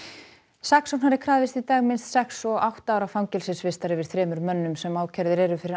saksóknari krafðist í dag minnst sex og átta ára fangelsisvistar yfir þremur mönnum sem ákærðir eru fyrir